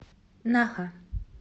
наха